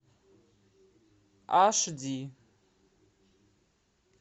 аш ди